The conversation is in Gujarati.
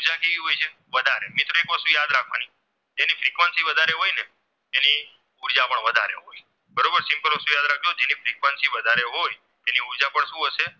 વળતું હશે